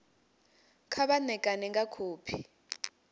kha vha ṋekane nga khophi